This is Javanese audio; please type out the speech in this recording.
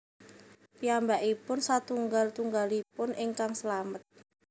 Piyambakipun satunggal tunggalipun ingkang slamet